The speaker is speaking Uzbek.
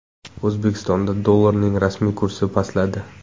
O‘zbekistonda dollarning rasmiy kursi pastladi.